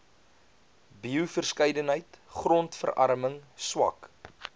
bioverskeidenheid grondverarming swak